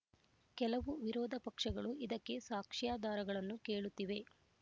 ಕೆಲವು ವಿರೋಧ ಪಕ್ಷಗಳು ಇದಕ್ಕೆ ಸಾಕ್ಷ್ಯಾಧಾರಗಳನ್ನು ಕೇಳುತ್ತಿವೆ